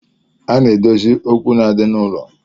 A na-edozi okwu na-adi n'ụlọ